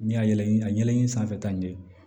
Ni y'a yɛlɛn a yɛlɛli sanfɛ ta ɲɛ